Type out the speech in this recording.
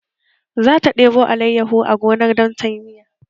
Zata debo alayyahu a gonar don ta yi miya